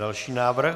Další návrh.